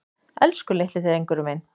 Elsku litli drengurinn minn.